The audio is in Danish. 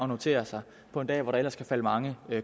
notere sig på en dag hvor der ellers kan falde mange